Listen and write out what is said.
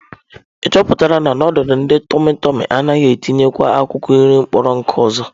Ị chọpụtala na, nudulu ndị tụmị tụmị anaghị etinyekwa akwụkwọ nri kpọrọ nkụ ọzọ?